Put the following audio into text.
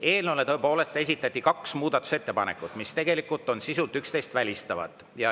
Eelnõu kohta esitati tõepoolest kaks muudatusettepanekut, mis on sisult teineteist välistavad.